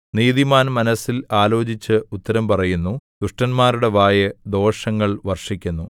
നീതിമാൻ മനസ്സിൽ ആലോചിച്ച് ഉത്തരം പറയുന്നു ദുഷ്ടന്മാരുടെ വായ് ദോഷങ്ങൾ വർഷിക്കുന്നു